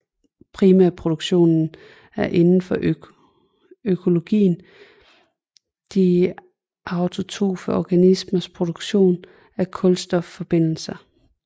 Primærproduktionen er inden for økologien de autotrofe organismers produktion af kulstofforbindelser